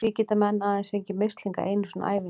Því geta menn aðeins fengið mislinga einu sinni á ævinni.